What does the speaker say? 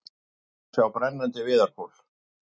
Hér má sjá brennandi viðarkol.